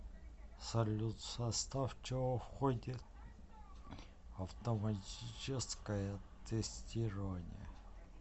салют в состав чего входит автоматическое тестирование